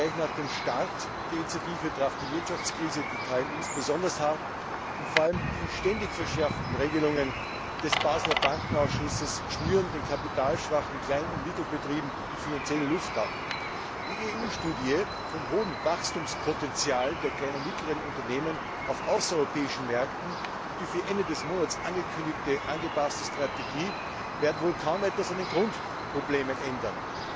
Aber gleich nach dem Start der Initiative traf die Wirtschaftskrise die KMU besonders hart, und vor allem die ständig verschärften Regelungen des Baseler Bankenausschusses schnüren den kapitalschwachen Klein und Mittelbetrieben finanziell die Luft ab. Die EU Studie zum hohen Wachstumspotenzial der kleinen und mittleren Unternehmen auf außereuropäischen Märkten und die für Ende des Monats angekündigte angepasste Strategie werden wohl kaum etwas an den Grundproblemen ändern.